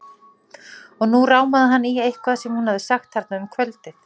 Og nú rámaði hann í eitthvað sem hún hafði sagt þarna um kvöldið.